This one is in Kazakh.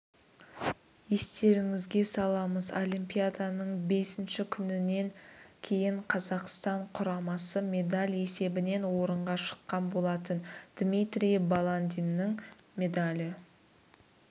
естеріңізге саламыз олимпиаданың бесінші күнінен кейін қазақстан құрамасы медаль есебінен орынға шыққан болатын дмитрий баландиннің медалі